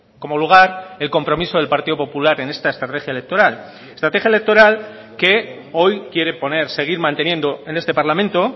como lugar el compromiso del partido popular en esta estrategia electoral estrategia electoral que hoy quiere poner seguir manteniendo en este parlamento